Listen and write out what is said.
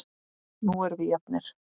Nú erum við jafnir.